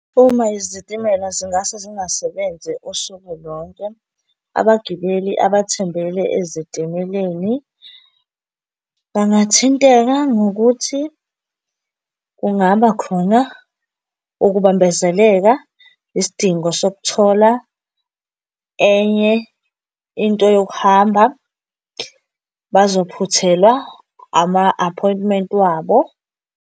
Uma izitimela zingase zingasebenzi usuku lonke, abagibeli abathembele ezitimeleni bangathinteka ngokuthi kungaba khona ukubambezeleka, isidingo sokuthola enye into yokuhamba, bazophuthelwa ama-aphoyintimenti wabo.